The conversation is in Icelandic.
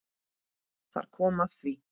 Þar kom að því!